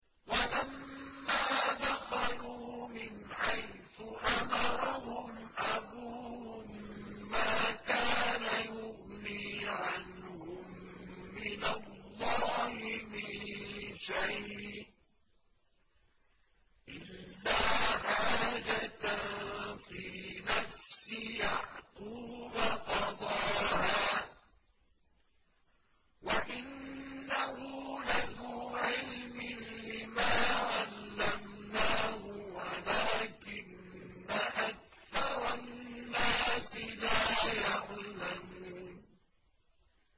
وَلَمَّا دَخَلُوا مِنْ حَيْثُ أَمَرَهُمْ أَبُوهُم مَّا كَانَ يُغْنِي عَنْهُم مِّنَ اللَّهِ مِن شَيْءٍ إِلَّا حَاجَةً فِي نَفْسِ يَعْقُوبَ قَضَاهَا ۚ وَإِنَّهُ لَذُو عِلْمٍ لِّمَا عَلَّمْنَاهُ وَلَٰكِنَّ أَكْثَرَ النَّاسِ لَا يَعْلَمُونَ